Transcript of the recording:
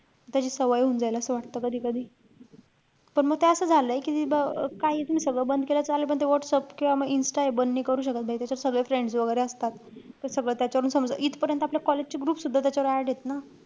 त्याची सवय होऊन जाईल असं वाटतं कधी-कधी. पण म ते असं झालंय कि अं काहीच मी सगळं बंद केलं चालेल. पण ते व्हाट्सअप किंवा म insta हे बंद नाई करू शकत . त्याच्यात सगळे friends वैगेरे असतात. त सगळं त्यांच्यानुसार होतं. इथपर्यंत आपल्या college चे group सुद्धा त्याच्यावर add हेत ना.